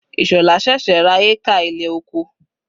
Ishola sẹ̀sẹ̀ ra hékà ilẹ̀ oko.